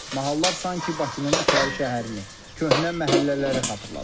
Mahallar sanki Bakının İçəri şəhərini, köhnə məhəllələri xatırladır.